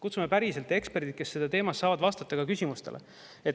Kutsume päriselt eksperdid, kes selles teemas saavad vastata küsimustele.